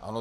Ano.